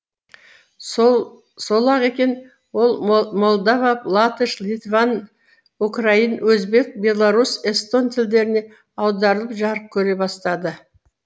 сол сол ақ екен ол молдова латыш литван украин өзбек беларусь эстон тілдеріне аударылып жарық көре бастады